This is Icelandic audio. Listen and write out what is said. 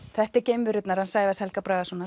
þetta eru geimverurnar hans Sævars Helga Bragasonar